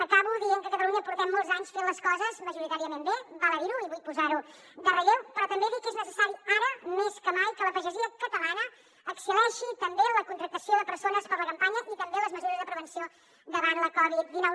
acabo dient que a catalunya portem molts anys fent les coses majoritàriament bé val a dir ho i vull posar ho en relleu però també dir que és necessari ara més que mai que la pagesia catalana excel·leixi també en la contractació de persones per a la campanya i també amb les mesures de prevenció davant la covid dinou